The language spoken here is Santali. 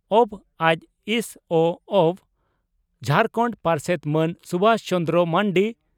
ᱵᱹᱡᱹᱥᱹᱚᱹᱜᱹ ᱡᱷᱟᱨᱠᱷᱟᱱᱰ ᱯᱟᱨᱥᱮᱛ ᱢᱟᱹᱱ ᱥᱩᱵᱷᱟᱥ ᱪᱚᱱᱫᱨᱚ ᱢᱟᱱᱰᱤ